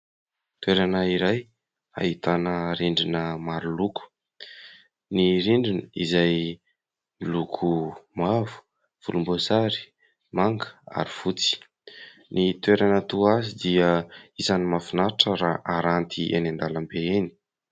Toerana iray ahitana rindrina maro loko. Ny rindriny izay miloko mavo, volomboasary, manga ary fotsy. Ny toerana toa azy dia isan'ny mahafinaritra raha aranty eny an-dalambe eny.